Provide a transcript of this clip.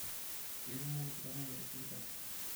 Keikumok iltamoyia tesipitali.